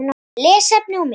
Lesefni og mynd